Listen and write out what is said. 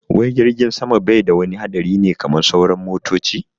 Wai jirgin sama bai da wani haɗari ne kaman sauran motoci?